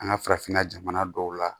An ka farafinna jamana dɔw la